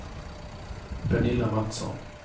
Pernilla Mattsson